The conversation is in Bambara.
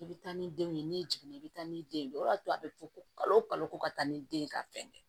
I bɛ taa ni denw ye n'i jiginna i bɛ taa ni den ye o y'a to a bɛ fɔ ko kalo o kalo ko ka taa ni den ye ka fɛn kɛ